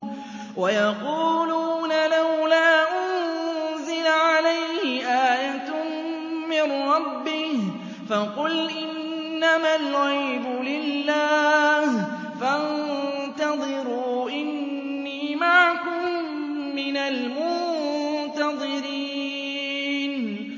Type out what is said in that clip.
وَيَقُولُونَ لَوْلَا أُنزِلَ عَلَيْهِ آيَةٌ مِّن رَّبِّهِ ۖ فَقُلْ إِنَّمَا الْغَيْبُ لِلَّهِ فَانتَظِرُوا إِنِّي مَعَكُم مِّنَ الْمُنتَظِرِينَ